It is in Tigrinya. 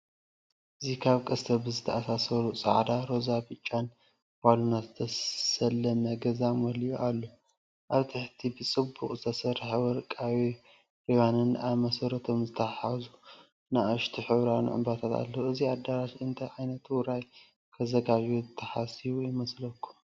እዚ ካብ ቀስቲ ብዝተኣሳሰሩ ጻዕዳ፡ ሮዛን ብጫን ባሎናት ዝተሰለመ ገዛ መሊኡ ኣሎ። ኣብ ትሕቲ ብጽቡቕ ዝተሰርሑ ወርቃዊ ሪባንን ኣብ መሰረቶም ዝተተሓሓዙ ንኣሽቱ ሕብራዊ ዕምባባታትን ኣለዉ። እዚ ኣዳራሽ እንታይ ዓይነት ውራይ ከዘጋጅው ተሓሲቡ ይመስለኩም?